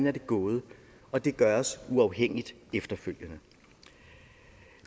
er gået og det gøres uafhængigt efterfølgende